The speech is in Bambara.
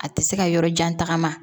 A tɛ se ka yɔrɔ jan tagama